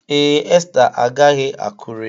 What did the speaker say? Ee, Esther agaghị Akure.